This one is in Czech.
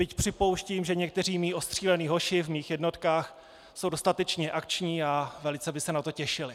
Byť připouštím, že někteří mí ostřílení hoši v mých jednotkách jsou dostatečně akční a velice by se na to těšili.